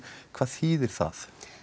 hvað þýðir það